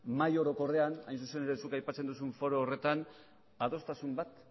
mahai orokorrean hain zuzen ere zuk aipatzen duzun foro horretan adostasun bat